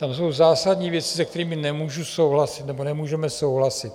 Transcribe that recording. Tam jsou zásadní věci, se kterými nemůžu souhlasit nebo nemůžeme souhlasit.